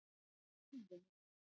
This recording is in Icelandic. Urðum